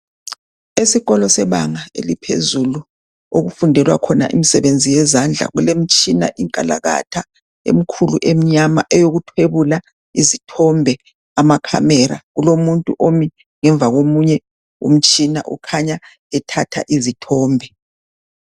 Esikolo sebanga eliphezulu okufundelwa khona imisebenzi yezandla kulemitshina inkalakatha emikhulu emnyama eyokuthwebula izithombe, amakhamera. Kulomuntu omi ngemva komunye umtshina ukhanya ethatha izithombe.